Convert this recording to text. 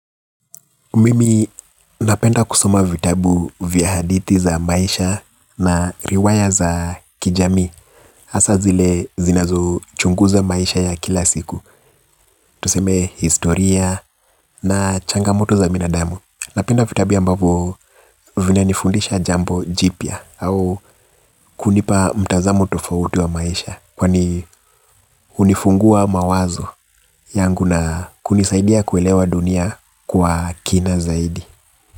Mimi napenda kusoma vitabu vya hadithi za maisha na riwaya za kijamii hasa zile zinazo chunguza maisha ya kila siku. Tuseme historia na changamoto za binadamu. Napenda vitabu ambavo vina nifundisha jambo jipya au kunipa mtazamo tofauti wa maisha kwani unifungua mawazo yangu na kunisaidia kuelewa dunia kwa kina zaidi.